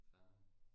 fair nok